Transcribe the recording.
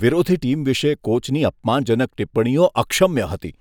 વિરોધી ટીમ વિશે કોચની અપમાનજનક ટિપ્પણીઓ અક્ષમ્ય હતી.